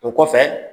O kɔfɛ